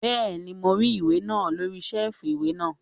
Bẹ́ẹ̀ni, mo rí ìwé náà lórí sẹ́ẹ̀fù ìwé náà